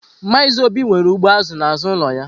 Maazị Obi nwere ugbo azụ n'azụ ụlọ ya.